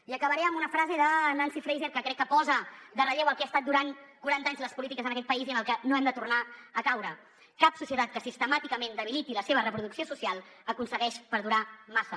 i acabaré amb una frase de nancy fraser que crec que posa en relleu el que han estat durant quaranta anys les polítiques en aquest país i en les que no hem de tornar a caure cap societat que sistemàticament debiliti la seva reproducció social aconsegueix perdurar massa